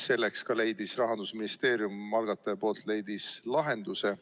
Sellele leidis Rahandusministeerium kui algataja lahenduse.